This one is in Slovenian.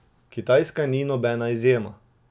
Kitajska ni nobena izjema.